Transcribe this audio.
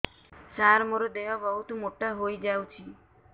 ସାର ମୋର ଦେହ ବହୁତ ମୋଟା ହୋଇଯାଉଛି